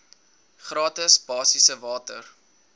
gratis basiese water